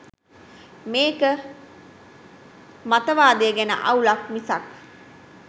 මේක මතවාදය ගැන අවුලක් මිසක්